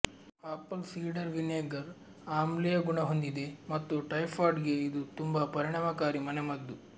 apple cider vinegar ಆಮ್ಲೀಯ ಗುಣ ಹೊಂದಿದೆ ಮತ್ತು ಟೈಫಾಯ್ಡ್ ಗೆ ಇದು ತುಂಬಾ ಪರಿಣಾಮಕಾರಿ ಮನೆಮದ್ದು